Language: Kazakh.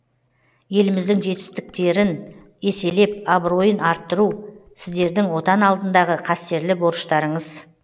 еліміздің жетістерін еселеп абыройын арттыру сіздердің отан алдындағы қастерлі борыштарыңыз